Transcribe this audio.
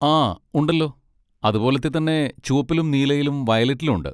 ആ, ഉണ്ടല്ലോ, അതുപോലത്തെ തന്നെ ചുവപ്പിലും നീലയിലും വയലറ്റിലും ഉണ്ട്.